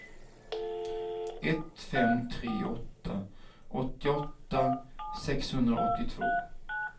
ett fem tre åtta åttioåtta sexhundraåttiotvå